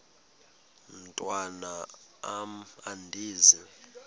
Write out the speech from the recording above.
mntwan am andizi